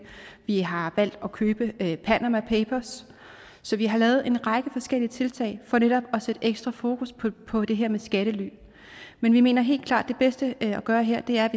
vi har valgt at købe panama papers så vi har lavet en række forskellige tiltag for netop at sætte ekstra fokus på det her med skattely men vi mener helt klart at det bedste at gøre her er